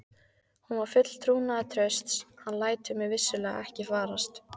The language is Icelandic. Hún var full trúnaðartrausts: hann lætur mig vissulega ekki farast.